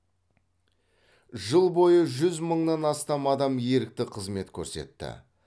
жыл бойы жүз мыңнан астам адам ерікті қызмет көрсетті